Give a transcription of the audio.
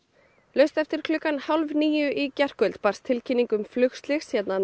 laust eftir klukkan hálf níu í gærkvöld var tilkynnt um flugslys hérna